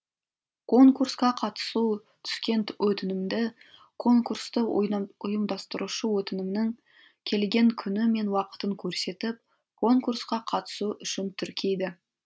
конкурсқа қатысу түскен өтінімді конкурсты ұйымдастырушы өтінімнің келген күні мен уақытын көрсетіп конкурсқа қатысу үшін тіркейді